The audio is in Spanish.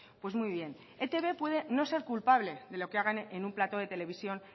pues muy bien etb puede no ser culpable de lo que hagan en un plató de televisión